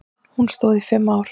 Hún stóð í fimm ár.